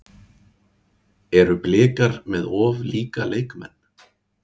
Eru Blikar með of líka leikmenn?